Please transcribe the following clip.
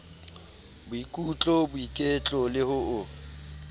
boikutlo boiketlo le ho o